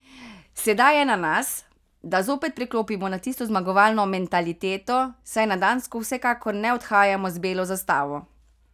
Sedaj je na nas, da zopet preklopimo na tisto zmagovalno mentaliteto, saj na Dansko vsekakor ne odhajamo z belo zastavo.